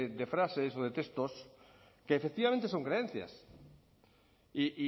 de frases o de textos que efectivamente son creencias y